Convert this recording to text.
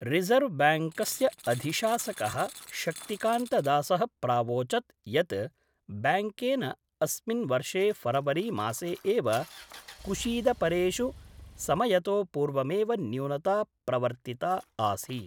रिजर्वब्याङ्क्स्य अधिशासक: शक्तिकान्तदास: प्रावोचत् यत् ब्याङ्केन अस्मिन् वर्षे फरवरी मासे एव कुशीदपरेषु समयतो पूर्वमेव न्यूनता प्रवर्तिता आसीत्।